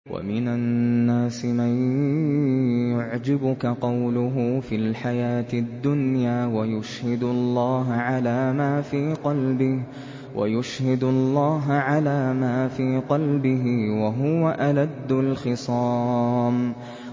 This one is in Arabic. وَمِنَ النَّاسِ مَن يُعْجِبُكَ قَوْلُهُ فِي الْحَيَاةِ الدُّنْيَا وَيُشْهِدُ اللَّهَ عَلَىٰ مَا فِي قَلْبِهِ وَهُوَ أَلَدُّ الْخِصَامِ